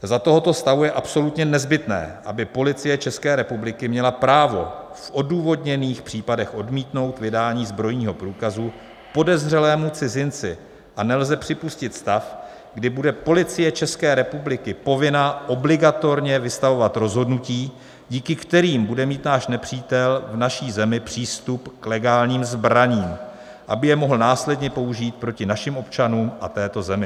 Za tohoto stavu je absolutně nezbytné, aby Policie České republiky měla právo v odůvodněných případech odmítnout vydání zbrojního průkazu podezřelému cizinci, a nelze připustit stav, kdy bude Policie České republiky povinna obligatorně vystavovat rozhodnutí, díky kterým bude mít náš nepřítel v naší zemi přístup k legálním zbraním, aby je mohl následně použít proti našim občanům a této zemi.